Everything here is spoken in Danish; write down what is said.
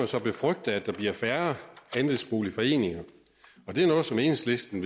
så befrygte at der bliver færre andelsboligforeninger det er noget som enhedslisten